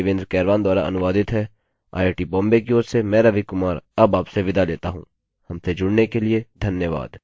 यह स्क्रिप्ट देवेन्द्र कैरवान द्वारा अनुवादित हैआईआईटी बॉम्बे की ओर से मैं रवि कुमार अब आपसे विदा लेता हूँ हमसे जुड़ने के लिए धन्यवाद